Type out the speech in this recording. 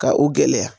Ka u gɛlɛya